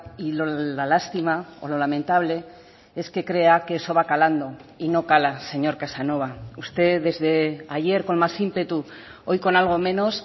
y la lástima o lo lamentable es que crea que eso va calando y no cala señor casanova usted desde ayer con más ímpetu hoy con algo menos